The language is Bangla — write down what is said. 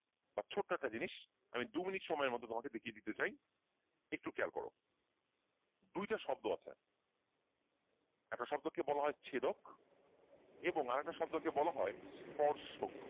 ছোট্ট একটা জিনিস আমি দু মিনিট সময়ের মধ্যে তোমাকে দেখিয়ে দিতে চাই একটু খেয়াল করো দুইটা শব্দ আছে একটা শব্দকে বলা হয় ছেদক এবং একটা শব্দকে বলা হয় স্পর্শক।